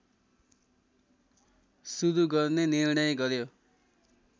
सुरू गर्ने निर्णय गर्‍यो